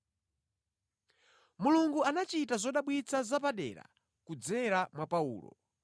Mulungu anachita zodabwitsa zapadera kudzera mwa Paulo.